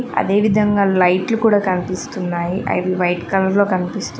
అదే విధంగా లైట్లు కూడా కనిపిస్తున్నాయి అవి వైట్ కలర్ లో కనిపిస్తూ--